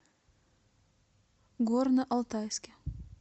горно алтайске